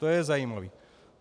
To je zajímavé.